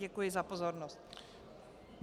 Děkuji za pozornost.